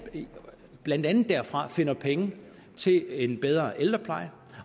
man blandt andet derfra finder penge til en bedre ældrepleje